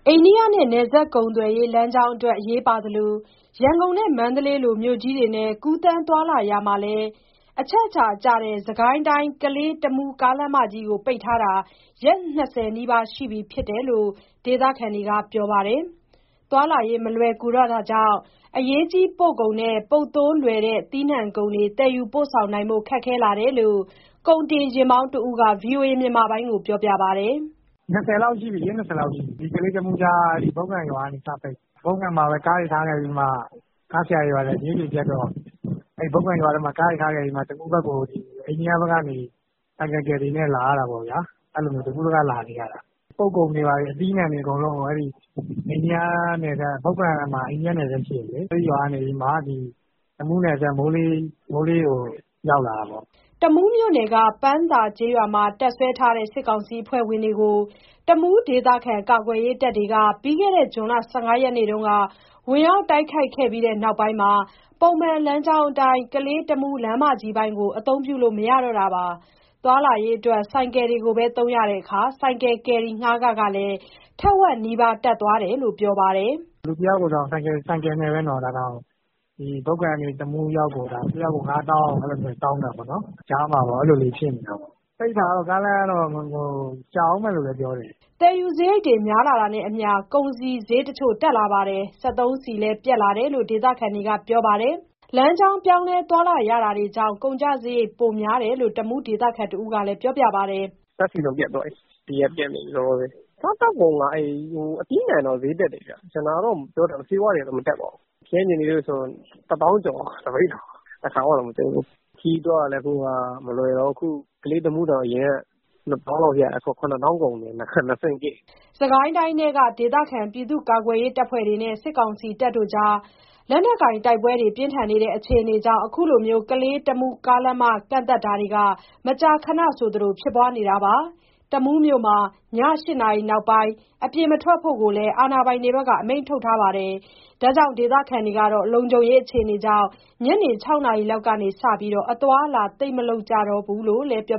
အိန္ဒိယနဲ့ နယ်စပ်ကုန်သွယ်ရေး လမ်းကြောင်းအတွက် အရေးပါသလို၊ ရန်ကုန် နဲ့ မန္တလေးလို မြို့ကြီးတွေနဲ့ ကူးသန်းသွားလာရာမှာလည်း အချက်အချာကျတဲ့ စစ်ကိုင်းတိုင်း၊ ကလေး-တမူးကားလမ်းမကြီးကို ပိတ်ထားတာ ရက်၂၀နီးပါးရှိပြီဖြစ်လို့ ဒေသခံတွေက ပြောပါတယ်။ သွားလာရေး မလွယ်ကူတော့တာကြောင့် အရေးကြီးပို့ကုန်နဲ့ ပုပ်သိုးလွယ်တဲ့ သီးနှံကုန်တွေ သယ်ယူပို့ဆောင်ဖို့ ခက်ခဲလာတယ်လို့ ကုန်တင်ယာဥ်မောင်းတဦးက ဗွီအိုအေကို ပြောပြပါတယ်။ "လမ်းပိတ်နေတာ ရက် ၂၀ လောက်ရှိပြီ။ ကလေး-တမူးကြား ဘုတ်ကန်ရွာကနေ စပိတ်တာ။ ကားဆရာတွေက အဲဒီဘုတ်ကန်ရွာထဲမှာ ကားတွေ ထားခဲ့ပြီးတော့ တမူးဘက်ကို အိန္ဒိယဘက်ကနေ ဆိုင်ကယ်ကယ်ရီနဲ့ လာရတာပေါ့ဗျာ။ အဲလိုမျိုး တကူးတက လာနေရတာ။ အရေးကြီးတဲ့ကုန်တွေ၊ ပုပ်ကုန်အသီးအနှံတွေ အကုန်လုံးကို ဘုတ်ကန်မှာ အိန္ဒိယနယ်စပ်ရှိတယ်လေ၊ အဲဒီရွာကနေပြီးမှ တမူးနယ်စပ် မိုးရေးကို ရောက်လာတာပေါ့။" တမူးမြို့နယ်က ပန်းသာကျေးရွာမှာ တပ်စွဲထားတဲ့ စစ်ကောင်စီ အဖွဲ့ဝင်တွေကို တမူးဒေသခံ ကာကွယ်ရေးတပ်တွေက ပြီးခဲ့တဲ့ ဇွန်လ၁၅ရက်နေ့တုန်းက ဝင်ရောက်တိုက်ခိုက်ခဲ့ပြီး နောက်ပိုင်းကတည်းက ပုံမှန်လမ်းကြောင်းအတိုင်းကလေး-တမူး လမ်းမကြီးပိုင်းကို အသုံးပြုလို့ မရတော့တာပါ။ သွားလာရေးအတွက် ဆိုင်ကယ်တွေကိုပဲ သုံးရတဲ့အခါ ဆိုင်ကယ်ကယ်ရီငှားခ ကလည်း ထက်ဝက်နီးပါး တက်သွားတယ်လို့ ပြောပါတယ်။ "လူတယောက်ထဲကို ဆိုင်ကယ်နဲ့ ဘုတ်ကန်ကနေ တမူးရောက်ဖို့ တယောက်ကို ၅ သောင်း အဲလိုမျိုးတွေ တောင်းနေတာပေါ့။ ကြားထဲမှာ အဲလိုမျိုးတွေ ဖြစ်နေတာ။ ကားလမ်းပိတ်နေတာက ကြာဦးမယ်လို့လည်း ပြောနေကြတယ်။" သယ်ယူစရိတ်တွေ များလာတာနဲ့အမျှ ကုန်စည်စျေးတချို့ တက်လာပြီး၊ စက်သုံးဆီလည်း ပြတ်လာတယ်လို့ ဒေသခံတွေက ပြောပါတယ်။ လမ်းကြောင်း ပြောင်းလဲ သွားလာရတာတွေကြောင့် ကုန်ကျစရိတ် ပိုများတယ်လို့ တမူးဒေသခံတဦးက ပြောပါတယ်။ "ဓာတ်ဆီတော့ ပြတ်သွားပြီ။ လောလောဆယ် စက်သုံးဆီက ပြတ်နေပြီ။ စားသောက်ကုန်က အသီးအနှံတော့ စျေးတက်တယ်ဗျ။ ကျန်တာတော့ မပြောတတ်ဘူး။ ဆေးဝါးတွေကတော့ မတက်ပါဘူး။ ခရမ်းချဉ်သီးဆို တပိဿာကို ၁ သောင်းကျော်သွားပြီ၊ တခါမှတောင် မကြုံဖူးဘူး။ ခရီးသွားရတာလည်း အခုဟာက မလွယ်တော့ဘူး။ အခု ကလေး-တမူးကို အရင်က ၂ သောင်းလောက်နဲ့ရတယ်၊ အခု ၇ သောင်းလောက်ကုန်တယ်၊ လမ်းကြောင်းတွေက ၂ ဆင့်ဖြစ်နေတာ။" စစ်ကိုင်းတိုင်းထဲက ဒေသခံကာကွယ်ရေး အဖွဲ့တွေနဲ့ စစ်ကောင်စီကြားက လက်နက်ကိုင်တိုက်ပွဲ အခြေအနေတွေကြောင့် ခုလိုကလေး-တမူး လမ်းမ ကန့်သတ်တာတွေ ကတော့ မကြာခဏဆိုသလို ဖြစ်နေတာပါ။တမူးမြို့မှာ ည၈နာရီနောက်ပိုင်း အပြင်မထွက်ဖို့ လည်း အာဏာပိုင်တွေက အမိန့်ထုတ်ထားပြီး၊ ဒေသခံတွေကတော့ လုံခြုံရေး အခြေအနေကြောင့် ညနေ၆နာရီလောက်ကစပြီး အသွားအလာ သိပ်မလုပ်ကြတော့ဘူးလို့ ပြော